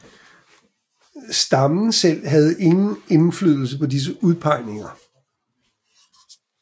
Stammen selv havde ingen indflydelse på disse udpegninger